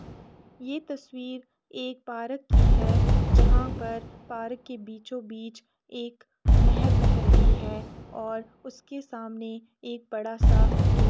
यह तस्वीर एक पार्क की है। जहां पर पार्क के बीचों बीच एक नहर बह रही है और उसके सामने एक बड़ा सा किल --